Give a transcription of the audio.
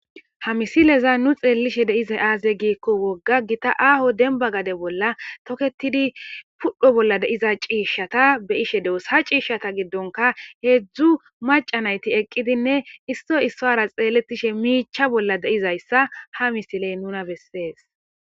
ha misileza nu xeellishe de7izay aaze giikko wogga gita aaho denba gade bolla toketidi pudho bolla de7iza ciishshata be7ishe de7os ha ciishshata giddonka heedzdzu maca nayti eqqidinne isso issuwara xeellethishe miicha bolla de7izayssa ha misiley nuna bessees.